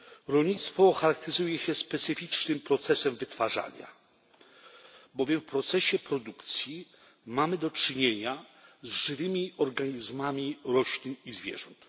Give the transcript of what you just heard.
Rolnictwo charakteryzuje się specyficznym procesem wytwarzania, bowiem w procesie produkcji mamy do czynienia z żywymi organizmami roślin i zwierząt.